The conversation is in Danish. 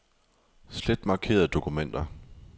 Slet markerede dokumenter.